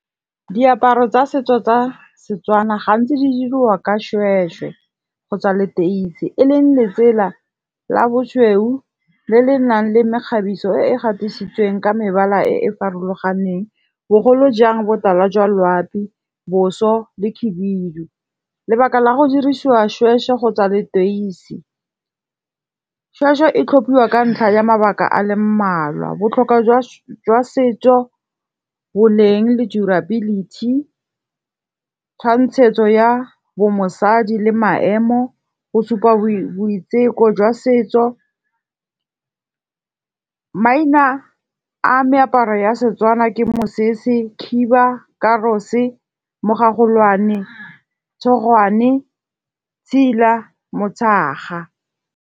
Diaparo tsa setso tsa setswana gantsi di dirwa ka šhwešhwe kgotsa leteisi. E leng letsela la bošweu le le nang le mekgabiso e e gatisitsweng ka mebala e e farologaneng. Bogolo jang botala jwa loapi boso le khibidu. Lebaka la go dirisiwa šhwešhwe kgotsa leteisi. Shwešhwe e tlhophiwa ka ntlha ya mabaka a le mmalwa, botlhokwa jwa setso, boleng le durability tshwantshetso ya bo mosadi le maemo, bo supa boiteko jwa setso. Maina a meaparo ya setswana ke mosese, khiba, karose, mogagolwane, tshogwane, tsila, motshaga.